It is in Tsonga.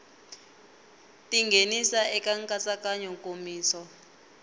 ti nghenisa eka nkatsakanyo nkomiso